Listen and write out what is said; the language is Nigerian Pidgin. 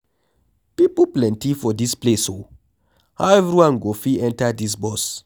People plenty for dis place oo, how everyone go fit enter dis bus?